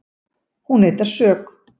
Hún neitar sök